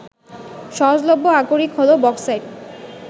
সহজলভ্য আকরিক হলো বক্সাইট